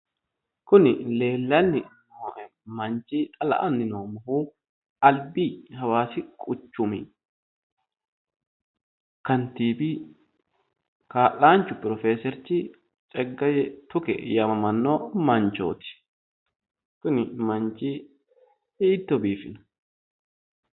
Kuni leellani nooe manchi xa la"ani noommohu albi hawaasi quchumi kantiiwi kaa'lanchu pirofeserichi Tsegaye Tuke yaamamanno manchooti. Kuni manchi hiitto biifino !!